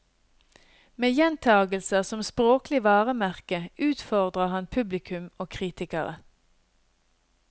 Med gjentagelser som språklig varemerke utfordrer han publikum og kritikere.